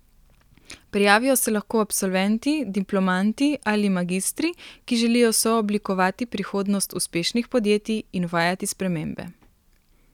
Prijavijo se lahko absolventi, diplomanti ali magistri, ki želijo sooblikovati prihodnost uspešnih podjetij in uvajati spremembe.